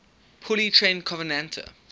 poorly trained covenanter